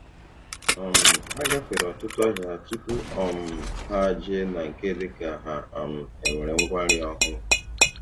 um Ha gafere ọtụtụ ahịa tupu um ha jee na nke dịka ha um e nwere ngwa nri ọhụrụ